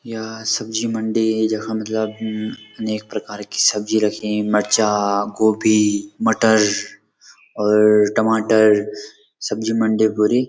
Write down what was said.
या सब्जी मंडी जख मतलब अनेक प्रकार की सब्जी रखीं मर्चा गोभी मटर और टमाटर सब्जी मंडी भूरी।